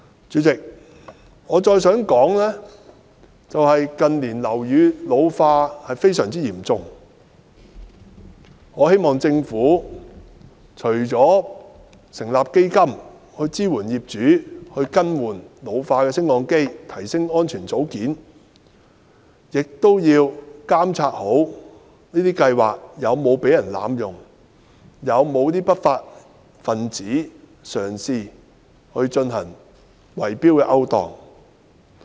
主席，鑒於近年樓宇老化問題非常嚴重，我希望政府除了成立基金支援業主更換老化的升降機及提升安全組件外，亦要做好監察工作，確保這些計劃不會被濫用，以及不會有不法分子嘗試進行圍標勾當。